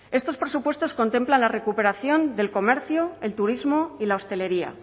estos presupuestos contemplan la recuperación del comercio el turismo y la hostelería